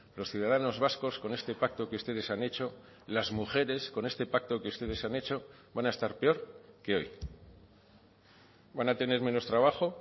los ciudadanos vascos con este pacto que ustedes han hecho las mujeres con este pacto que ustedes han hecho van a estar peor que hoy van a tener menos trabajo